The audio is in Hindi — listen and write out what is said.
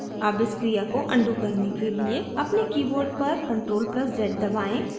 अब इस क्रिया को अनडू करने के लिए अपने keyboard पर ctrl + z दबाएं